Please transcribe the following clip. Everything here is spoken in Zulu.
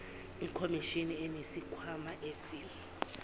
ikhomishini inesikhwama esi